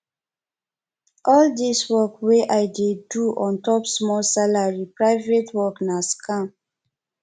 all dis work wey i dey do ontop small salary private work na scam